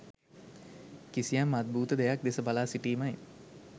කිසියම් අද්භූත දෙයක් දෙස බලා සිටීමයි